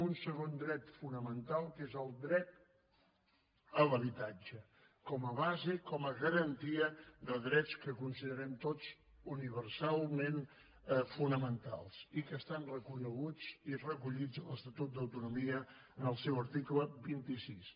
un segon dret fonamental que és el dret a l’habitatge com a base com a garantia de drets que considerem tots universalment fonamentals i que estan reconeguts i recollits en l’estatut d’autonomia en el seu article vint sis